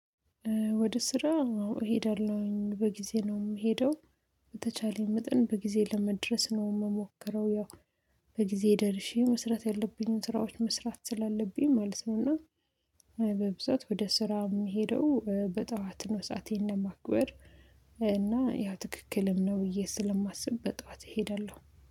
ወደ ስራ እሄዳለሁኝ በጊዜ ነው የምሄደው። በተቻለኝ መጠን በጊዜ ለመድረስ ነው የምሞክረው። ያው በጊዜ ደርሼ መስራት ያለብኝን ስራዎች መስራት ስላለብኝ ማለት ነው። እና በብዛት ወደ ስራ የምሄደው በጠዋት ነው። ሰአቴን ለየማክበር፤ እና ያው ትክክልም ነው ብዬ ስለማስብ በጧት እሄዳለሁ።